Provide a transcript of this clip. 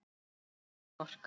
Engin orka.